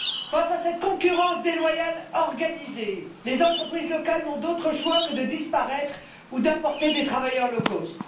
Face à cette concurrence déloyale organisée, les entreprises locales n'ont d'autre choix que de disparaître ou d'importer des travailleux low cost